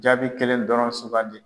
Jaabi kelen dɔrɔn sugandi.